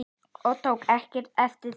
Ég tók ekkert eftir þeim.